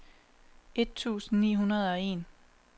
et tusind ni hundrede og en